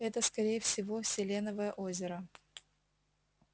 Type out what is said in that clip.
это скорее всего селеновое озеро